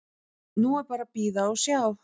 Nú er bara að bíða og sjá.